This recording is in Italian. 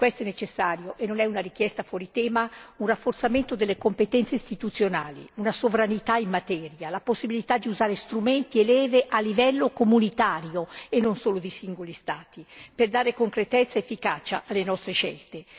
Per questo è necessario e non è una richiesta fuori tema un rafforzamento delle competenze istituzionali, una sovranità in materia, la possibilità di usare strumenti e leve a livello comunitario, e non solo di singoli Stati, per dare concretezza ed efficacia alle nostre scelte.